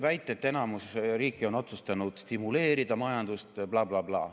Väita, et enamus riiki on otsustanud stimuleerida majandust, bla-bla-bla.